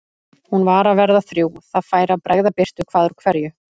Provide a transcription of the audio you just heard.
Hún var að verða þrjú, það færi að bregða birtu hvað úr hverju.